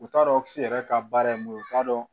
U t'a dɔn kisi yɛrɛ ka baara ye mun ye u t'a dɔn